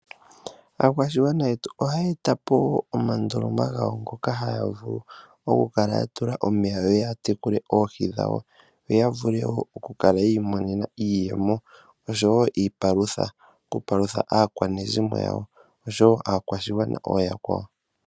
Aakwashigwana yetu ohaya etapo omandoloma gawo ngoka ya haya vulu oku kala ya tula omeya, yo ya tekule oohi dhawo, yo ya vule woo oku kala ya imonena iiyemo, oshowo iipalutha oku palutha aakwanezimo yawo, oshowo aakwashigwana ooyakwawo.